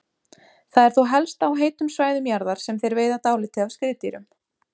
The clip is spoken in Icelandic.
Það er þó helst á heitum svæðum jarðar sem þeir veiða dálítið af skriðdýrum.